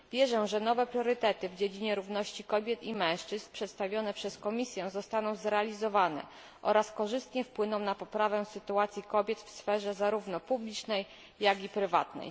Wierzę, że nowe priorytety w dziedzinie równości kobiet i mężczyzn przedstawione przez Komisję zostaną zrealizowane oraz korzystnie wpłyną na poprawę sytuacji kobiet w sferze zarówno publicznej, jak i prywatnej.